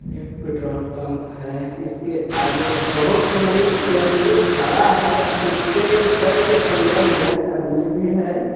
एक petrol pump है इसके आगे बहुत टेम्पो खड़ा है इस पे दस से पन्द्रा जन अदमी भी है।